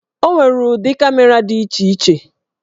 O nwere ụdị kamera dị iche iche.